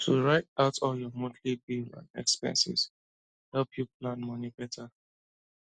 to write out all your monthly bill and expenses help you plan money better